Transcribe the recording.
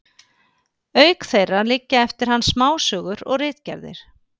Auk þeirra liggja eftir hann smásögur og ritgerðir.